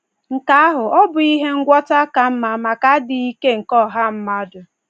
Nke ahụ ọ́ bụghị ihe ngwọta ka mma maka adịghị ike nke ọha mmadụ?